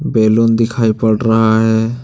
Balloon दिखाई पड़ रहा है।